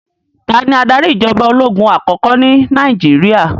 Tani adarí ìjọba ológun àkọ́kọ́ ní Nàìjíríà?